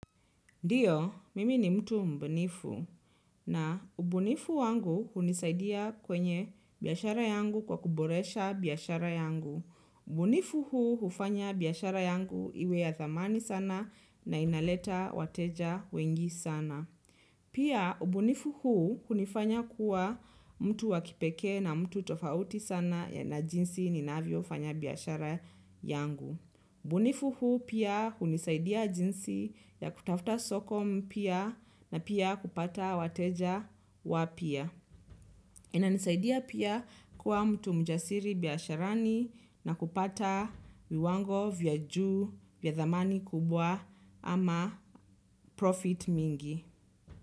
Ndiyo, mimi ni mtu mbunifu na ubunifu wangu hunisaidia kwenye biashara yangu kwa kuboresha biashara yangu. Ubunifu huu hufanya biashara yangu iwe ya thamani sana na inaleta wateja wengi sana. Pia ubunifu huu hunifanya kuwa mtu wakipekee na mtu tofauti sana na jinsi ninavyo fanya biashara yangu. Ubunifu huu pia hunisaidia jinsi ya kutafuta soko mpya na pia kupata wateja wapya. Inanisaidia pia kuwa mtu mjasiri biasharani na kupata viwango vya juu vya dhamani kubwa ama profit mingi.